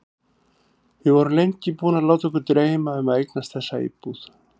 Við erum lengi búin að láta okkur dreyma um að eignast þessa íbúð.